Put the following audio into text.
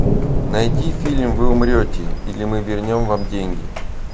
найди фильм вы умрете или мы вернем вам деньги